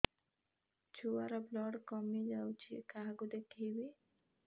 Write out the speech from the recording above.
ଛୁଆ ର ବ୍ଲଡ଼ କମି ଯାଉଛି କାହାକୁ ଦେଖେଇବି